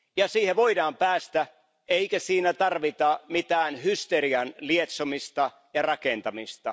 Ja siihen voidaan päästä, eikä siinä tarvita mitään hysterian lietsomista ja rakentamista.